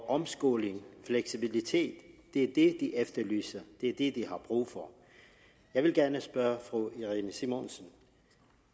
omskoling og fleksibilitet er det de efterlyser er det de har brug for jeg vil gerne spørge fru irene simonsen